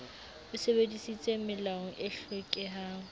o sebedisitse melao e hlokehang